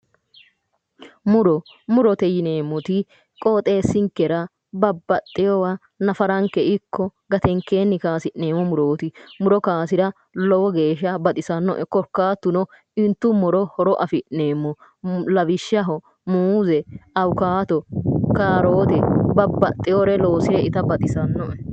Muro, murote yinneemmoti qoxxeesinkera babbaxeyewo nafaranke ikko gatenkenni kayisi'neemmo murooti, muro kayisira lowo geeshsha baxxisanoe korkaatuno intuummoro hattono horo afi'neemmo lawishshaho muuze, awukkado, kaarote, babbaxeyore loosse itta baxisanoe".